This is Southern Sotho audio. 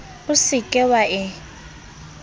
o se ke wa e